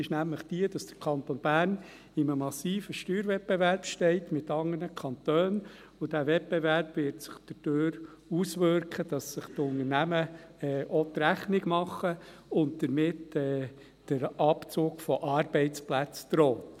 Diese ist nämlich so, dass der Kanton Bern in einem massiven Steuerwettbewerb steht mit anderen Kantonen, und dieser Wettbewerb wird sich dadurch auswirken, dass sich die Unternehmen auch die Rechnung machen und damit der Abzug von Arbeitsplätzen droht.